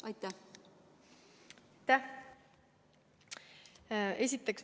Aitäh!